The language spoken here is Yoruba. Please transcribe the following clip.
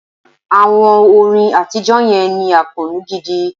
Àwọn orin àtijọ́ yẹn ní àkóónú gidi.